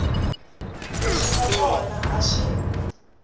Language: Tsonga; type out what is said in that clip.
leswi nga kona a swi